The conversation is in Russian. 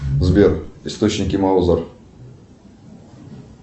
сбер источники маузер